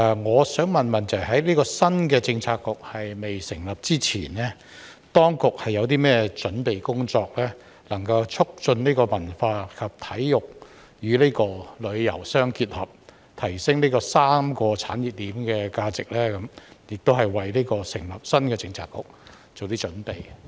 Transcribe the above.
我想問：在這個新的政策局未成立之前，當局有甚麼準備工作，能夠促進文化及體育與旅遊相結合，提升這3個產業鏈的價值，亦為成立新的政策局做些準備？